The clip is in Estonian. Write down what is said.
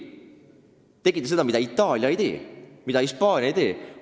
Te tegite seda, mida Itaalia ei tee, mida Hispaania ei tee."?